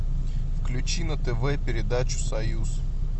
включи на тв передачу союз